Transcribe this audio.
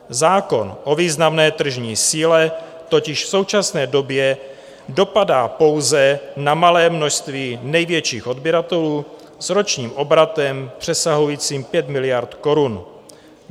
Zákon o významné tržní síle totiž v současné době dopadá pouze na malé množství největších odběratelů s ročním obratem přesahujícím 5 miliard korun.